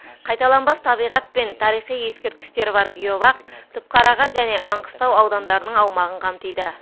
қайталанбас табиғат пен тарихи ескерткіштері бар геобақ түпқараған және маңғыстау аудандарының аумағын қамтиды